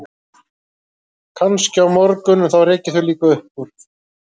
Kannski á morgun, en þá rek ég þau líka upp úr